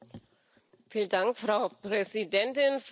Frau Präsidentin, Frau Kommissarin!